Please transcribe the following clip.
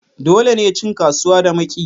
Dole ne cin kasuwa da makiyi